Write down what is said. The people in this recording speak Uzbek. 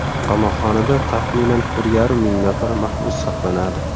Qamoqxonada taxminan bir yarim ming nafar mahbus saqlanadi.